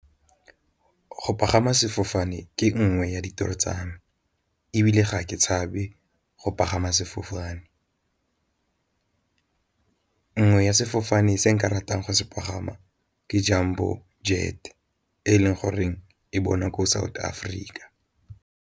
Go pagama sefofane ke nngwe ya ditoro tsa me, ebile ga ke tshabe go pagama sefofane. Nngwe ya sefofane se nka ratang go se pagama ke Jambo jet e leng goreng e bonwa ko South Africa.